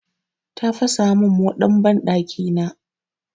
Ta fasa min moɗan banɗakina.